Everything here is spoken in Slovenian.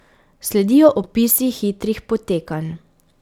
Sledijo opisi hitrih potekanj.